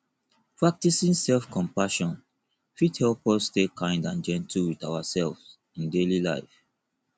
practicing selfcompassion fit help us stay kind and gentle with ourselves in daily life